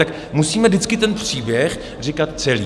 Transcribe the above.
Tak musíme vždycky ten příběh říkat celý.